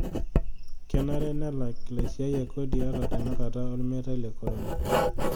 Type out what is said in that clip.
Kenare nelak laisiayiak kodi ata tenakata olmeitai le korona.